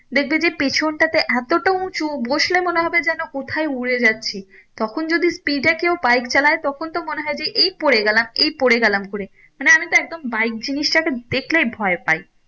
দেখবে যে পেছনটাতে এতটা উঁচু বসলে মনে হবে যেন কোথায় উড়ে যাচ্ছি তখন যদি speed এ কেও bike চালায় তখন তো মনে হয়ে যে এই পরে গেলাম এই পরে গেলাম করে না আমি তো একদম bike জিনিসটাকে দেখলেই ভয় পাই।